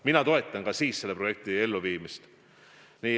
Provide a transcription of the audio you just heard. Mina toetan ka siis selle projekti elluviimist.